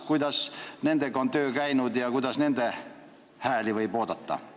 Kuidas on töö nendega käinud ja mis hääli võib sealt oodata?